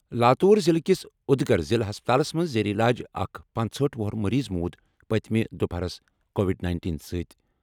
لاتوٗر ضِلعہٕ کِس اُدگِر ضِلعہٕ ہَسپتالَس منٛز زیر علاج اَکھ پانٛژہأٹھ وُہُر مٔریٖض موٗد پٔتمہِ دُپہرَس کووِڈ نینٹین سۭتۍ۔